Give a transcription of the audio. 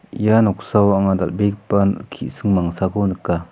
ia noksao anga dal·begipa ki·sing mangsako nika.